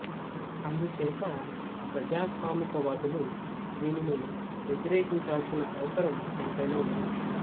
అందుచేత ప్రజాస్వామిక వాదులు దీనిని వ్యతిరేకించాల్సిన అవసరం ఎంతైనా ఉంది